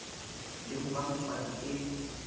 le ho ba motswadi e